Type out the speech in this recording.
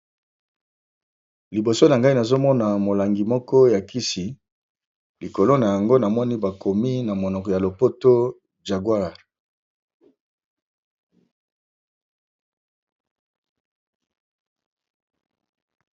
Liboso na ngai nazomona molangi moko ya kis,i likolo na yango namoni bakomi na monoko ya lopoto jaguare.